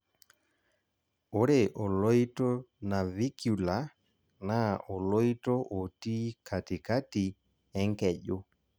ore oloito navicular naa oloito otii katikati enkeju